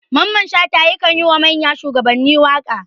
Mamman shata yakan yi wa manyan shuwagabanni waka.